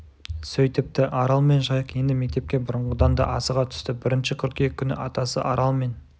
сөйтіпті арал мен жайық енді мектепке бұрынғыдан да асыға түсті бірінші қыркүйек күні атасы арал мен